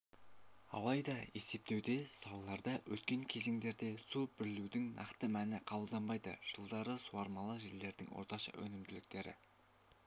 алайда есептеуде салаларда өткен кезеңдерде су берілудің нақты мәні қабылданбайды жылдары суармалы жерлердің орташа өнімділіктері